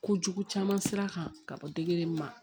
Kojugu caman sira kan ka bɔ degeli ma